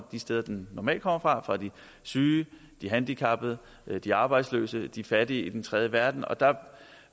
de steder den normalt kommer fra fra de syge de handicappede de arbejdsløse og de fattige i den tredje verden